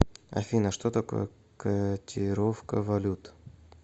афина что такое котировка валют